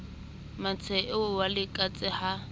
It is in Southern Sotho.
mmantshele eo wa letekatse ha